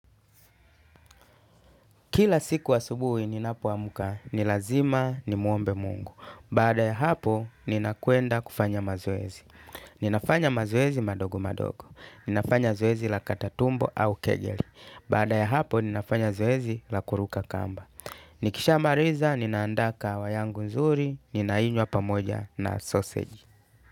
Kila siku asubuhi ninapoamka, ni lazima nimwombe mungu. Bada ya hapo, ninakwenda kufanya mazoezi. Ninafanya mazoezi madogo madogo. Ninafanya zoezi la kata tumbo au kejeli. Baada ya hapo, ninafanya zoezi la kuruka kamba. Nikishamariza, ninaandaa kahawa yangu nzuri, ninainywa pamoja na sausage.